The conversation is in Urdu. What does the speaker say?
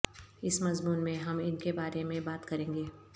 اس مضمون میں ہم ان کے بارے میں بات کریں گے